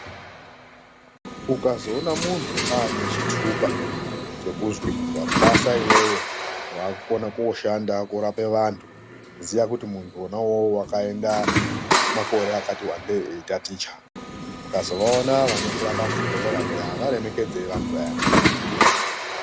Ukazoona muntu aane chitupa chekuzwi wapasa iwewe wakukona kooshanda korape vantu ziya kuti muntu wona uwowo wakaenda kwemakore akati wandei eitaticha. Mukazovaona vanotirapa muzvibhehlera muya varemekedzei vantu vaya.